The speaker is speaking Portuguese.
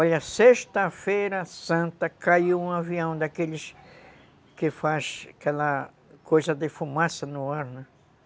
Olha, sexta-feira santa caiu um avião daqueles que faz aquela coisa de fumaça no ar, né?